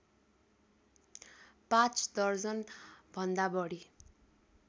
पाँच दर्जनभन्दा बढी